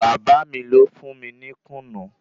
Bàba mí lo fún mí ní kùnǹú.